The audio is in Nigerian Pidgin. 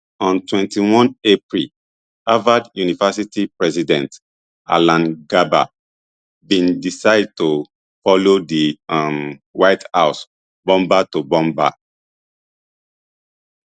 on twenty-one april harvard university president alan garber bin decide to follow di um white house bumper to bumper